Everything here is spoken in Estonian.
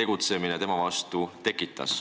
tegutsemine tema vastu tekitas.